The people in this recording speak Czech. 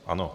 Ano.